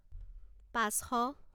পাঁচশ